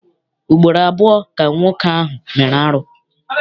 Ugboro abụọ ka nwoke ahụ mere arụ.